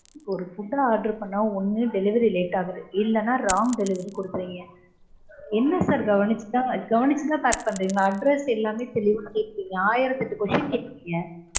ஒரு food order பண்ணா ஒன்னு delivery late ஆகுது இல்லனா wrong delivery கொடுக்கறீங்க. என்ன sir கவனிச்சுதா கவனிச்சுதா pack பண்றீங்களா? Address எல்லாமே தெளிவா கேக்கறீங்க. ஆயிரத்தெட்டு question கேக்கறீங்க